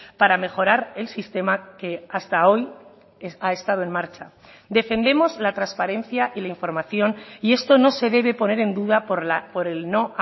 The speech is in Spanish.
para mejorar el sistema que hasta hoy ha estado en marcha defendemos la transparencia y la información y esto no se debe poner en duda por el no